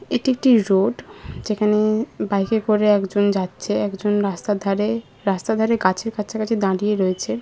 এটি একটি রোড যেখানে-এ বাইকে করে একজন যাচ্ছে। একজন রাস্তার ধারে রাস্তার ধারে গাছের কাছাকাছি দাঁড়িয়ে রয়েছে।